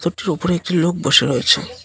ওটির ওপরে একটি লোক বসে রয়েছে।